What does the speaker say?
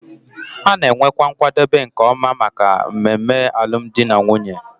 A na-enwekwa nkwadebe nke ọma maka mmemme alụmdi na nwunye